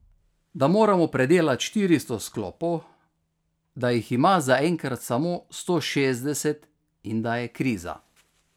Da moramo predelat štiristo sklopov, da jih ima zaenkrat samo sto šestdeset in da je kriza.